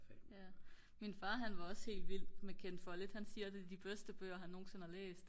min far han var også helt vild med Ken Follet han siger det er de bedste bøger han nogensinde har læst